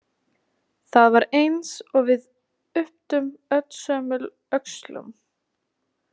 Það var eins og við ypptum öllsömul öxlum.